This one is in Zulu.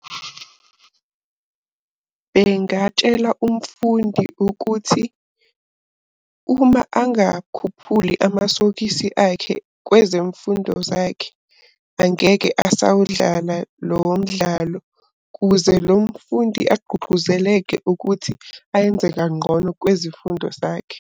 Ngingatshela umfundi ukuthi uma angakhuphuli amasokisi akhe kwezemfundo zakhe. Angeke asawudlala lowo mdlalo kuze lo mfundi agqugquzeleke ukuthi ayenze kanqono kwezifundo zakhe.